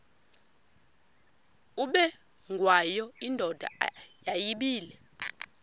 ubengwayo indoda yayibile